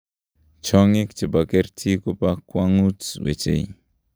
chionyink chipa kerti kupa kuangut wechei